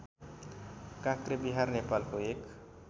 काँक्रेविहार नेपालको एक